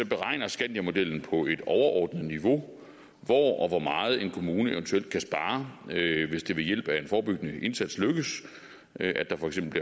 beregner skandiamodellen på et overordnet niveau hvor og hvor meget en kommune eventuelt kan spare hvis det ved hjælp af en forebyggende indsats lykkedes at der for eksempel